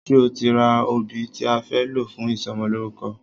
Ṣe o ti ra obì tí a fẹ́ lò fún ìsọmọlórúkọ?